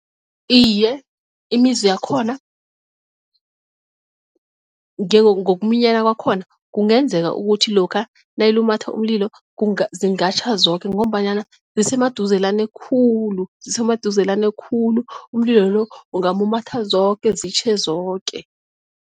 Iye, imizi yakhona ngokuminyana kwakhona kungenzeka ukuthi lokha nayilumatha umlilo zingatjha zoke ngombanyana zisemaduzelane khulu zisemaduzelane khulu umlilo lo ungamumatha zoke zitjhe zoke.